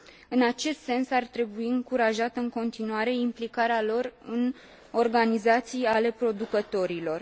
În acest sens, ar trebui încurajată în continuare implicarea lor în organizații ale producătorilor.